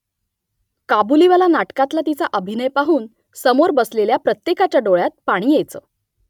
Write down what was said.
काबुलीवाला नाटकातला तिचा अभिनय पाहून समोर बसलेल्या प्रत्येकाच्या डोळ्यात पाणी यायचं